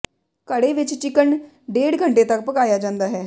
ਘੜੇ ਵਿੱਚ ਚਿਕਨ ਡੇਢ ਘੰਟੇ ਤਕ ਪਕਾਇਆ ਜਾਂਦਾ ਹੈ